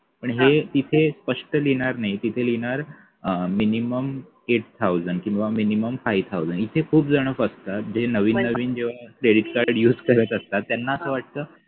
आणि हे तिथे स्पष्ट लिहिणार नाही तिथे लिहिणार अं minimum eight thousand किंवा minimum five thousand इथे खूप जण फसता जे नवीन नवीन जेव्हा credit card use करत असता त्याना असं वाटत